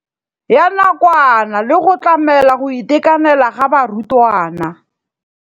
Ya nakwana le go tlamela go itekanela ga barutwana.